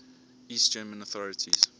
east german authorities